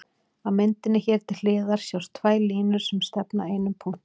Á myndinni hér til hliðar sjást tvær línur sem stefna að einum punkti.